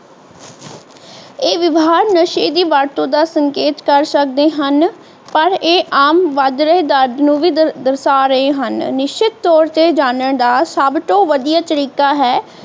ਇਹ ਵਿਵਹਾਰ ਨਸ਼ੇ ਦੀ ਵਰਤੋਂ ਦਾ ਸੰਕੇਤ ਕਰ ਸਕਦੇ ਹਨ ਪਰ ਇਹ ਆਮ ਵੱਧ ਰਹੇ ਦਰਜ ਨੂੰ ਵੀ ਦਰਸ਼ਾ ਰਹੇ ਹਨ ਨਿਸ਼ਚਿਤ ਤੌਰ ਤੇ ਜਾਨਣ ਦਾ ਸੱਬ ਤੋਂ ਵਧੀਆ ਤਰੀਕਾ ਹੈ